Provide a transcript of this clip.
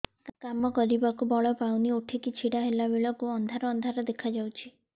କାମ କରିବାକୁ ବଳ ପାଉନି ଉଠିକି ଛିଡା ହେଲା ବେଳକୁ ଅନ୍ଧାର ଅନ୍ଧାର ଦେଖା ଯାଉଛି